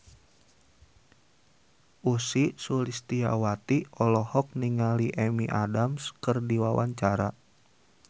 Ussy Sulistyawati olohok ningali Amy Adams keur diwawancara